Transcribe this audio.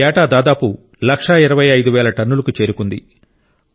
ఏటా దాదాపు లక్ష ఇరవై ఐదువేల టన్నులకు చేరుకుంది